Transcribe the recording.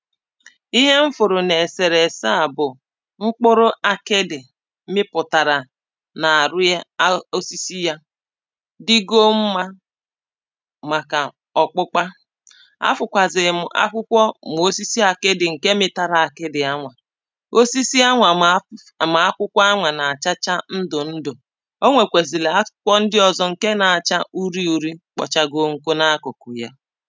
Ihe m fụrụ na eserese a bụ̀ mkpụrụ akịdị̀ mịpụtara na arụ ya ahụ osisi yà dịgo mma maka ọkpụkpa a fụkwazi m akwụkwọ ma osisi aki̇dị nke mịtara akịdị a nwà osisi a nwa ma ma akwụkwọ a nwa na-achacha ndụ ndụ̀ onwekwezili a akwụkwọ ndị ọzọ nke na-acha uri urī kpọchago nkụ na akụkụ yà